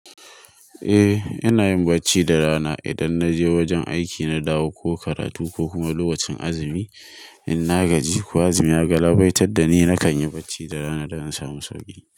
Eh, ina yin barci da rana. Idan na je wajen aiki, na dawo ko karatu ko kuma lokacin azumi, in na gaji ko azumi ya galabaitar da ni, nakan yi barci da rana don in samu sauki.